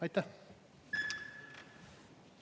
Aitäh!